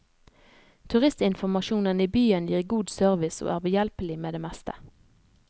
Turistinformasjonen i byen gir god service og er behjelpelig med det meste.